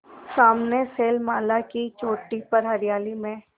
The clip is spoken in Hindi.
सामने शैलमाला की चोटी पर हरियाली में